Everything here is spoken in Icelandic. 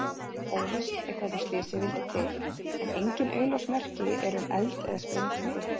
Óvíst er hvernig slysið vildi til en engin augljós merki eru um eld eða sprengingu.